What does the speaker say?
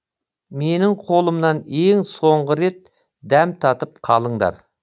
менің қолымнан ең соңғы рет дәм татып қалыңдар